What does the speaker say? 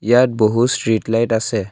ইয়াত বহু street light আছে।